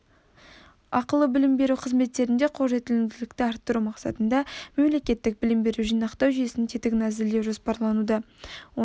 ақылы білім беру қызметтеріне қолжетімділікті арттыру мақсатында мемлекеттік білім беру жинақтау жүйесінің тетігін әзірлеу жоспарлануда оның